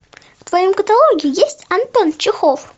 в твоем каталоге есть антон чехов